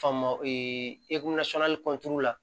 Faama la